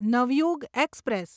Navyug express